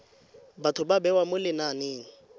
batho ba bewa mo lenaneng